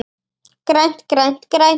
GRÆNT, GRÆNT, GRÆNT.